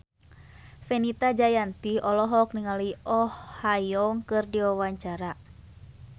Fenita Jayanti olohok ningali Oh Ha Young keur diwawancara